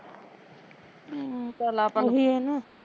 ਹਮ ਓਹੀ ਐ ਨਾ